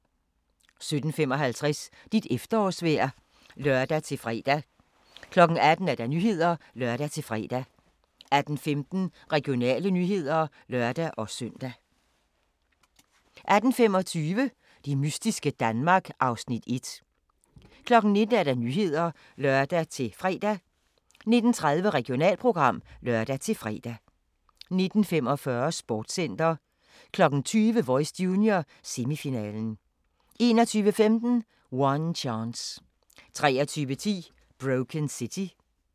17:55: Dit efterårsvejr (lør-fre) 18:00: Nyhederne (lør-fre) 18:15: Regionale nyheder (lør-søn) 18:25: Det mystiske Danmark (Afs. 1) 19:00: Nyhederne (lør-fre) 19:30: Regionalprogram (lør-fre) 19:45: Sportscenter 20:00: Voice Junior - semifinalen 21:15: One Chance 23:10: Broken City